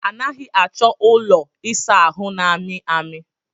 A naghị achọ ụlọ ịsa ahụ na-amị amị.